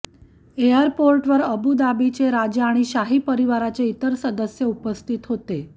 एयरपोर्टवर अबूधाबीचे राजा आणि शाही परिवाराचे इतर सदस्य उपस्थित होते